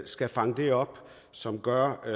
skal fange det op og som gør at